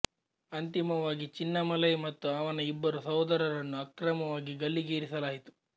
ಅಂತಿಮವಾಗಿ ಚಿನ್ನಮಲೈ ಮತ್ತು ಅವನ ಇಬ್ಬರು ಸಹೋದರರನ್ನು ಅಕ್ರಮವಾಗಿ ಗಲ್ಲಿ ಗೇರಿಸಲಾಯಿತು